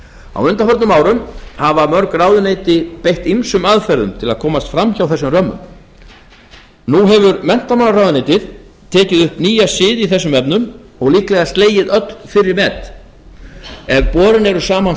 á undanförnum árum hafa mörg ráðuneyti beitt ýmsum aðferðum til að komast fram hjá þessum römmum nú hefur menntamálaráðuneytið tekið upp nýja siði í þessum efnum og líklega slegið öll fyrri met ef borin eru saman